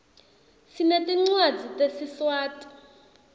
sinetincwadzi tesiswati